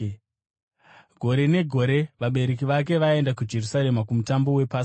Gore negore vabereki vake vaienda kuJerusarema kuMutambo wePasika.